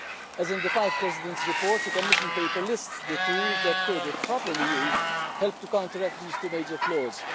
As in the Five Presidents' report, the Commission paper lists the tools that could, if properly used, help to counteract these two major flaws.